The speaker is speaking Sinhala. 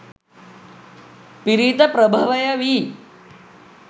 පිරිත ප්‍රභවය වී